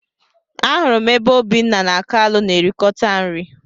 Ahụrụ m ebe Obinna na kalu na erikota nri.